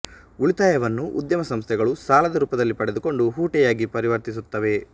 ಉಳಿತಾಯವನ್ನು ಉದ್ಯಮ ಸಂಸ್ಥೆಗಳು ಸಾಲದ ರೂಪದಲ್ಲಿ ಪಡೆದುಕೊಂಡು ಹೂಟೆಯಾಗಿ ಪರಿವರ್ತಿಸುತ್ತವೆ